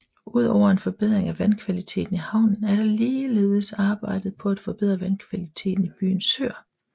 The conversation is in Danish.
Udover en forbedring af vandkvaliteten i havnen er der ligeledes arbejdet på at forbedre vandkvaliteten i byens søer